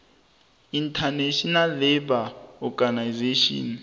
international labour organization